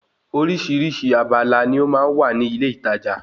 Orísìírísìí abala ni ó máa ń wà ní ilé ìtajà